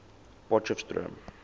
potchefstroom